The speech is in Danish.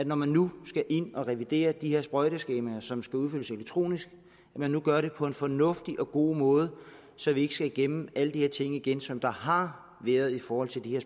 når man nu skal ind og revidere de her sprøjteskemaer som skal udfyldes elektronisk gør det på en fornuftig og god måde så vi ikke skal igennem alle de her ting igen som der har været i forhold til de her